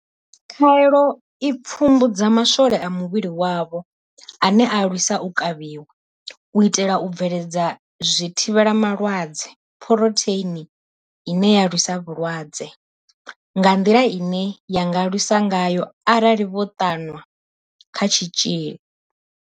Khaelo i pfumbudza maswole a muvhili wavho ane a lwisa u kavhiwa, u itela u bveledza zwithivhelama lwadze, phurotheini ine ya lwisa vhulwadze nga nḓila ine ya nga lwisa ngayo arali vho ṱanwa kha tshitzhili.